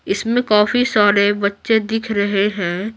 इसमें काफी सारे बच्चे दिख रहे हैं।